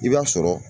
I b'a sɔrɔ